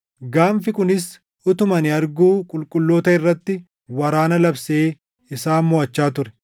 Gaanfi kunis utuma ani arguu qulqulloota irratti waraana labsee isaan moʼachaa ture;